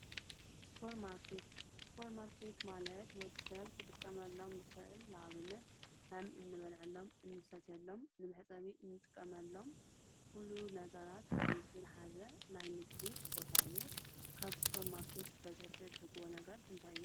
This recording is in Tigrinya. ሱፐር ማርኬት ሱፐር ማርኬት ማለት ወዲ ሰብ ክጥቀመሎም ዝኽእል ንኣብነት ከም ንበልዐሎም ንሰትየሎም ንመሕፀቢ ንጥቀመሎም ኩሉ ነገራት ሓዊሱ ዝሓዘ ናይ ምግቢ ቦታ እዩ፡፡ ካብ ሱፐር ማርኬት በዝሒ ትዕድግዎ ነገር እንታይ እዩ?